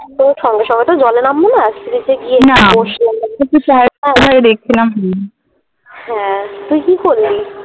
সঙ্গে সঙ্গে তো জলে নামবোনা Sea beach এ গিয়ে না একটু বসলাম হ্যাঁ তুই কি করলি?